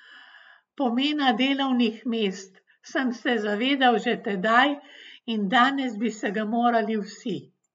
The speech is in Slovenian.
Pomena delovnih mest sem se zavedal že tedaj in danes bi se ga morali vsi!